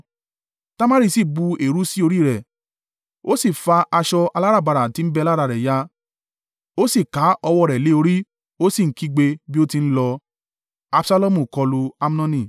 Tamari sì bu eérú sí orí rẹ̀, ó sì fa aṣọ aláràbarà tí ń bẹ lára rẹ̀ ya, ó sì ká ọwọ́ rẹ̀ lé orí, ó sì ń kígbe bí ó ti ń lọ.